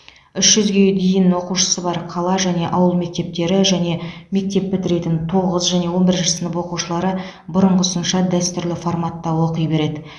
үш жүзге дейін оқушысы бар қала және ауыл мектептері және мектеп бітіретін тоғыз және он бірінші сынып оқушылары бұрынғысынша дәстүрлі форматта оқи береді